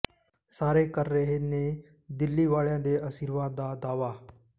ਸਾਰੇ ਕਰ ਰਹੇ ਨੇ ਦਿੱਲੀ ਵਾਲਿਆਂ ਦੇ ਅਸ਼ੀਰਵਾਦ ਦਾ ਦਾਅਵਾ